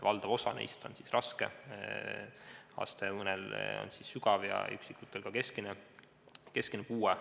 Valdaval osal neist on raske, mõnel sügav ja osal keskmine puue.